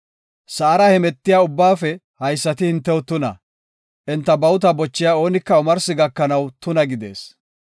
Sa7ara hemetiya ubbaafe haysati hintew tuna; enta bawuta bochiya oonika omarsi gakanaw tuna gidees.